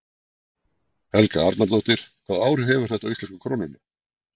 Helga Arnardóttir: Hvaða áhrif hefur þetta á íslensku krónuna?